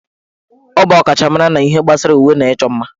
Ọ bụ ọkachamara na ihe gbasara uwe na ịchọ mma